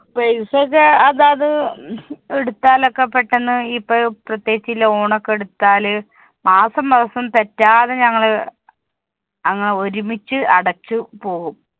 paisa വെച്ച അതാത് എടുത്താലൊക്കെ പെട്ടന്ന് ഇപ്പോ പ്രേത്യേകിച് ഈ loan ഒക്കെ എടുത്താല് മാസം മാസം തെറ്റാതെ ഞങ്ങള് അങ്ങനെ ഒരുമിച്ച് അടച്ച് പോവും